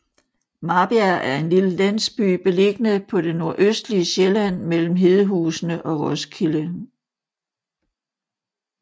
Marbjerg er en lille landsby beliggende på det nordøstlige Sjælland mellem Hedehusene og Roskilde